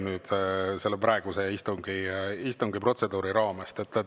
See väljub praeguse istungi protseduuri raamest.